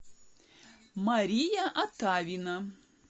мария атавина